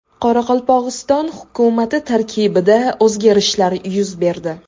Qoraqalpog‘iston hukumati tarkibida o‘zgarishlar yuz berdi.